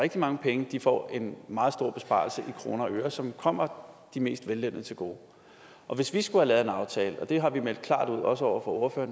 rigtig mange penge får en meget stor besparelse i kroner og øre som kommer de mest vellønnede til gode og hvis vi skulle have lavet en aftale og det har vi meldt klart ud også over for